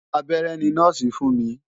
Abẹ́rẹ́ ni nọ́ọ̀sì fún mi.